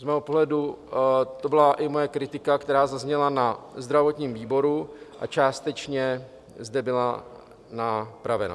Z mého pohledu to byla i moje kritika, která zazněla na zdravotním výboru a částečně zde byla napravena.